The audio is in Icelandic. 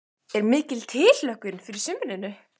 Er mikil tilhlökkun fyrir sumrinu?